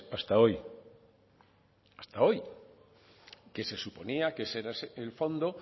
hasta hoy hasta hoy que se suponía que ese era el fondo